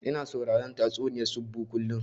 Ina sauraron tatsuniyar tsubu kullum